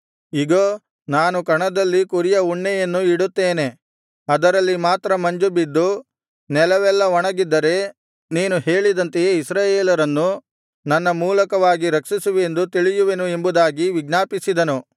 ಇಗೋ ನಾನು ಕಣದಲ್ಲಿ ಕುರಿಯ ಉಣ್ಣೆಯನ್ನು ಇಡುತ್ತೇನೆ ಅದರಲ್ಲಿ ಮಾತ್ರ ಮಂಜುಬಿದ್ದು ನೆಲವೆಲ್ಲಾ ಒಣಗಿದ್ದರೆ ನೀನು ಹೇಳಿದಂತೆಯೇ ಇಸ್ರಾಯೇಲರನ್ನು ನನ್ನ ಮೂಲಕವಾಗಿ ರಕ್ಷಿಸುವಿಯೆಂದು ತಿಳಿಯುವೆನು ಎಂಬುದಾಗಿ ವಿಜ್ಞಾಪಿಸಿದನು